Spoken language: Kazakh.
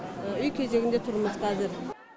үй кезегінде тұрмыз қазір